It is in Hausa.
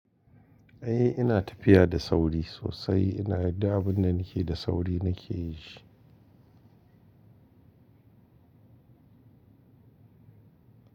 Eh ina tafiya da sauri sosai. Ina yin duk abinda nake da sauri nake yin shi.